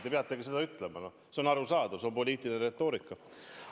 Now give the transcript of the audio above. Te peategi seda ütlema – see on arusaadav, see on poliitiline retoorika.